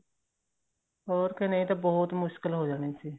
ਹੋਰ ਕੇ ਨਹੀਂ ਤਾਂ ਬਹੁਤ ਮੁਸ਼ਕਿਲ ਹੋ ਜਾਣੀ ਸੀ